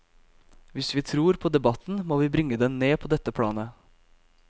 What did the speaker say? Hvis vi tror på debatten, må vi bringe den ned på dette planet.